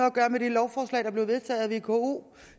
at gøre med det lovforslag der blev vedtaget af vko